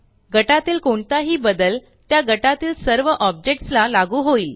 गटातील कोणताही बदल त्या गटातील सर्व ऑब्जेक्टस ला लागू होईल